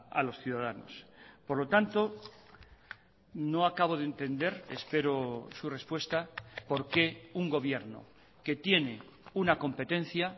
a los ciudadanos por lo tanto no acabo de entender espero su respuesta por qué un gobierno que tiene una competencia